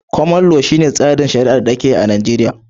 Koman lo, shi ne tsarin shari'ar da ake yi a Najeriya